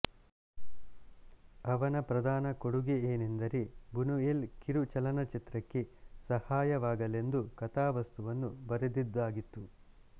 ಅವನ ಪ್ರಧಾನ ಕೊಡುಗೆ ಏನೆಂದರೆ ಬುನುಯೆಲ್ ಕಿರು ಚಲನಚಿತ್ರಕ್ಕೆ ಸಹಾಯವಾಗಲೆಂದು ಕಥಾವಸ್ತುವನ್ನು ಬರೆದಿದ್ದಾಗಿತ್ತು